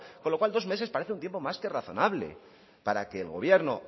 con lo cual dos meses parece un tiempo más que razonable para que el gobierno